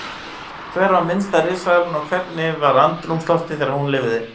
Hver var minnsta risaeðlan og hvernig var andrúmsloftið þegar hún lifði?